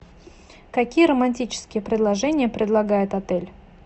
какие романтические предложения предлагает отель